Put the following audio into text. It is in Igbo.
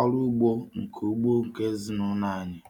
ọrụ ugbo nke ugbo nke ezinụlọ anyị.